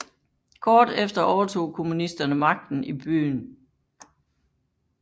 Kort efter overtog kommunisterne magten i byen